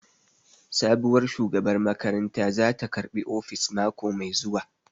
Sabuwar shugabar makaranta zata karɓi ofis mako mai zuwa